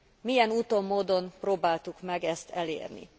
Milyen úton módon próbáltuk ezt elérni?